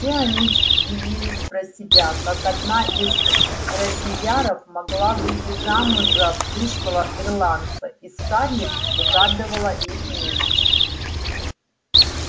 все они дивились про себя как одна из робийяров могла выйти замуж за пришлого ирландца и скарлетт угадывала их мысли